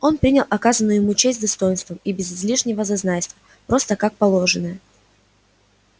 он принял оказанную ему честь с достоинством и без излишнего зазнайства просто как положенное